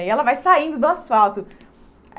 E ela vai saindo do asfalto.